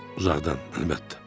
Uzaqdan, əlbəttə.